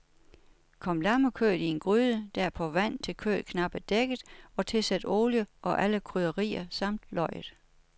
Kom lammekødet i en gryde, derpå vand, til kødet knapt er dækket, og tilsæt olie og alle krydderier samt løget.